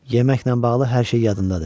Yeməklə bağlı hər şey yadındadır.